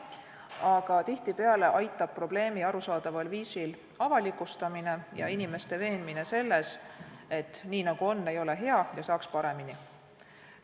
Aga tihtipeale aitab probleemi arusaadaval viisil avalikustamine ja inimeste veenmine selles, et nii nagu on, ei ole hea ja saaks paremini.